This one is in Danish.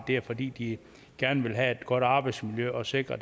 det er fordi de gerne vil have et godt arbejdsmiljø og sikre